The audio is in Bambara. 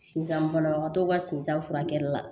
Sisan banabagatɔw ka sizan furakɛli la